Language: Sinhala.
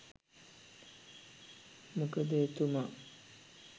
මොකද එතුමා